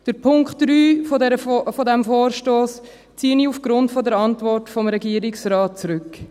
Den Punkt 3 dieses Vorstosses ziehe ich aufgrund der Antwort des Regierungsrates zurück.